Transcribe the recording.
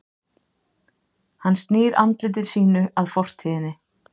Hann snýr andliti sínu að fortíðinni.